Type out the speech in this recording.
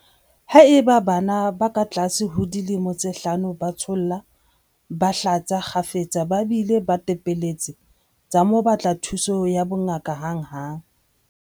Haeba bana ba katlase ho dilemo tse hlano ba tsholla, ba hlatsa kgafetsa ba bile ba tepelletse, tsa mo batla thuso ya bongaka hanghang.